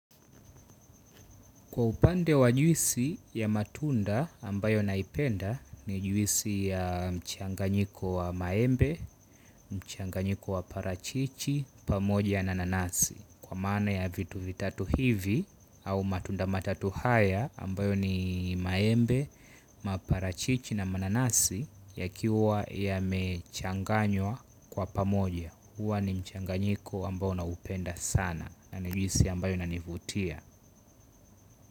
Kwa upande wa juisi ya matunda ambayo naipenda ni juisi ya mchanganyiko wa maembe, mchanganyiko wa parachichi, pamoja na nanasi. Kwa maana ya vitu vitatu hivi au matunda matatu haya ambayo ni maembe, maparachichi na mananasi ya kiwa yamechanganywa kwa pamoja. Huwa ni mchanganyiko ambayo naupenda sana nani juisi ambayo ina nivutia.